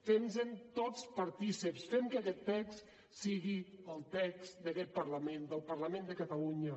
fem nos en tots partícips fem que aquest text sigui el text d’aquest parlament del parlament de catalunya